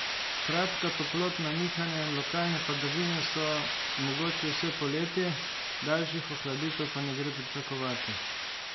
Kratka toplotna nihanja in lokalne padavine so mogoči vse poletje, daljših ohladitev pa ne gre pričakovati.